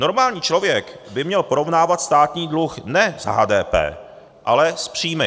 Normální člověk by měl porovnávat státní dluh ne s HDP, ale s příjmy.